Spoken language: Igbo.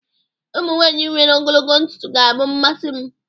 ụmụ nwanyị nwere ogologo ntutu ga-abụ mmasi m